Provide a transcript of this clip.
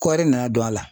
Kɔɔri nana don a la